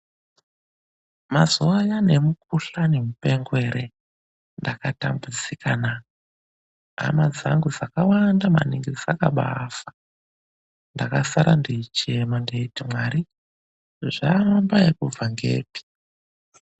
MAZUWA AYANA EMUKUHLANI MUPENGO NDAKATAMBUDZIKANA, HAMA DZANGU DZAKAWANDA MANINGI DZAKABA AFA. NDAKASARA NDIKACHEMA NDEITI MWARI ZVAAMBA NEKUBVA NEPI?